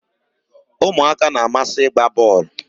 umuaka na-amasi igba bol